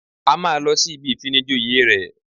A máa lọ sí ibi ìfinijoyè rẹ̀